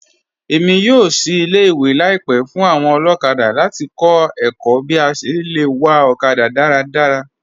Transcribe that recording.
Èmi yóò ṣìí ilẹ̀-ìwé laípẹ̀ fún awọn olokada láti kọ̀ ẹ̀kọ̀ bí à ṣé lẹ wà okada daradara.